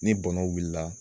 Ni bɔnnaw wulila